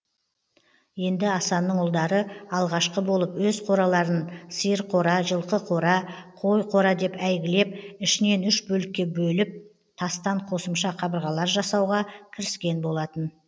енді асанның ұлдары алғашқы болып өз қораларын сиыр қора жылқы қора қой қора деп әйгілеп ішінен үш бөлікке бөліп тастан қосымша қабырғалар жасауға кіріскен болатын